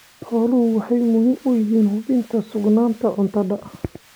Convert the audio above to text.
Xooluhu waxay muhiim u yihiin hubinta sugnaanta cuntada.